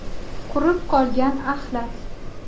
Qurib qolgan axlat.